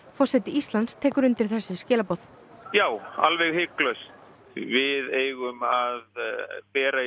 forseti Íslands tekur undir þessi skilaboð já alveg hiklaust við eigum að bera í